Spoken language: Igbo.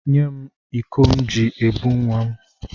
Nye m ụkọ m ji ebu nwa m.